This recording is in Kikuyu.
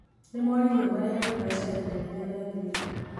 Nĩ moririo marĩhage mbeca ihinda rĩrĩa rĩagĩrĩire.